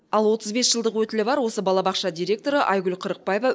ал отыз бес жылдық өтілі бар осы балабақша директоры айгүл қырықбаева